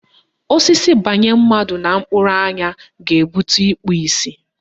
Osisi banye mmadụ na mkpụrụ anya ga-ebute ikpu isi.